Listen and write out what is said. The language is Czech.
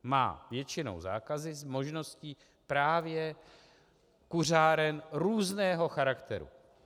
Má většinou zákazy s možností právě kuřáren různého charakteru.